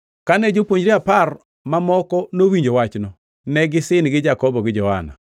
Kane jopuonjre apar mamoko nowinjo wachno, ne gisin gi Jakobo gi Johana.